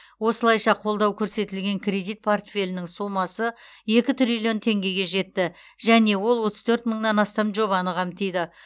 осылайша қолдау көрсетілген кредит портфелінің сомасы екі триллион теңгеге жетті және ол отыз төрт мыңнан астам жобаны қамтиды